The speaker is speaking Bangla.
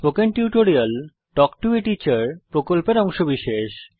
spoken tutorial talk to a teacher প্রকল্পের অংশবিশেষ